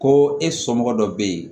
Ko e somɔgɔ dɔ bɛ yen